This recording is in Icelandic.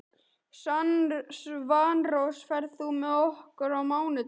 Svanrós, ferð þú með okkur á mánudaginn?